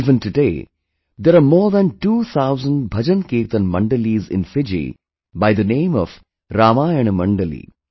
Even today there are more than two thousand BhajanKirtan Mandalis in Fiji by the name of Ramayana Mandali